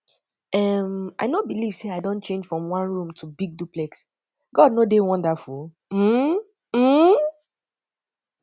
um i no believe say i don change from one room to big duplex god no dey wonderful um um